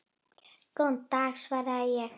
Góðan dag, svaraði ég.